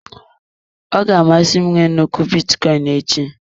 Ọ ga-amasị m I nwe nnukwu bitcoin echi.